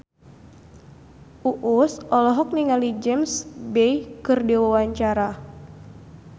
Uus olohok ningali James Bay keur diwawancara